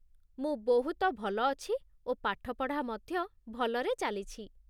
ମୁଁ ବହୁତ ଭଲ ଅଛି ଓ ପାଠପଢ଼ା ମଧ୍ୟ ଭଲରେ ଚାଲିଛି।